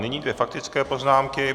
Nyní dvě faktické poznámky.